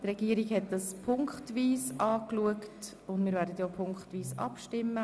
Die Regierung hat sie punktweise betrachtet, und wir werden in dieser Form abstimmen.